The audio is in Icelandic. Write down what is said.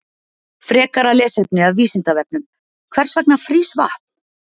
Frekara lesefni af Vísindavefnum Hvers vegna frýs vatn?